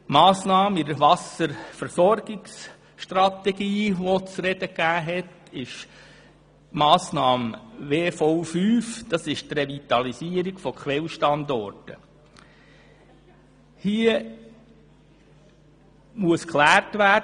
In der Wasserversorgungsstrategie gab die Massnahme WV-5, die Revitalisierung von Quellstandorten speziell zu diskutieren.